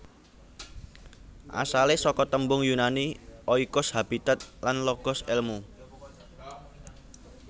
Asalé saka tembung Yunani oikos habitat lan logos èlmu